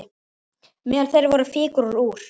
Meðal þeirra voru fígúrur úr